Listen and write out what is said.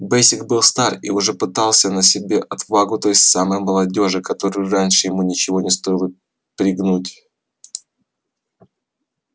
бэсик был стар и уже пытался на себе отвагу той самой молодёжи которую раньше ему ничего не стоило пригнуть